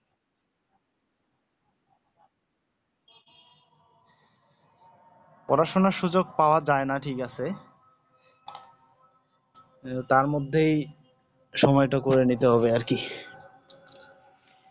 পড়াশোনার সুযোগ পউয়া যায়না ঠিক আছে তারমধ্যেই সময়টা করে নিতে হবে আরকি